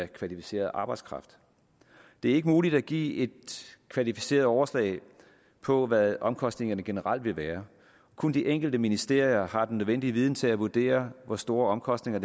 kvalificeret arbejdskraft det er ikke muligt at give et kvalificeret overslag på hvad omkostningerne generelt vil være kun de enkelte ministerier har den nødvendige viden til at vurdere hvor store omkostninger